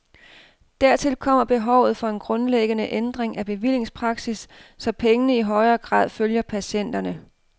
Dertil kommer behovet for en grundlæggende ændring af bevillingspraksis, så pengene i højere grad følger patienterne.